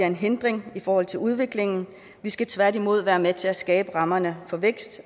en hindring i forhold til udviklingen vi skal tværtimod være med til at skabe rammerne for vækst